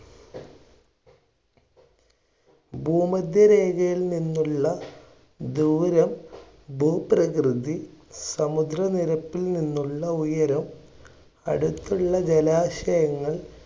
ഭൂമധ്യ രേഖയിൽ നിന്നുള്ള ദൂരം, ഭൂപ്രകൃതി, സമുദ്ര നിരപ്പിൽ നിന്നുള്ള ഉയരം, അടുത്തുള്ള ജലാശയങ്ങൾ,